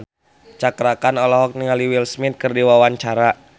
Cakra Khan olohok ningali Will Smith keur diwawancara